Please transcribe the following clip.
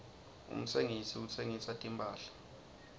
umtsengisi uhsengisa timphahla